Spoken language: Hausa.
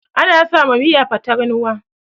ana sawa Miya fatarnuwa